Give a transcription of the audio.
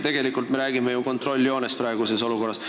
Tegelikult me räägime praeguses olukorras küll kontrolljoonest.